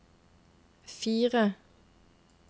fire